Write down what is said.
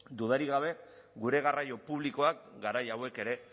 dudarik gabe gure garraio publikoak garai hauek ere